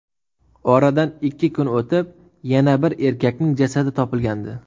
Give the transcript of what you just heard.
Oradan ikki kun o‘tib, yana bir erkakning jasadi topilgandi.